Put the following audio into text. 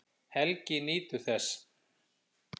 Helgi nýtur þess.